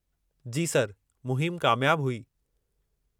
जी sir, मुहिम कामियाब हुई।